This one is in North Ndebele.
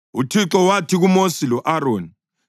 UThixo wathi kuMosi lo-Aroni: